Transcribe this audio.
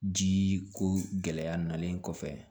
Ji ko gɛlɛya nalen kɔfɛ